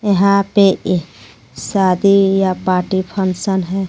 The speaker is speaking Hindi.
यहां पे एक शादी या पार्टी फंक्शन है.